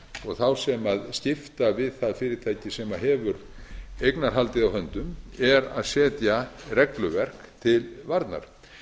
og þá sem skipta við það fyrirtæki sem hefur eignarhaldið á höndum er að setja regluverk til varnar